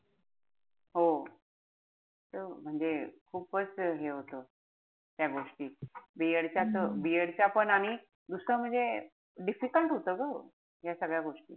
हो. ते म्हणजे खूपच हे होत. त्या गोष्टी. B. ED च्या त B. ED च्या पण. आणि दुसरं म्हणजे difficult होत ग. ह्या सगळ्या गोष्टी.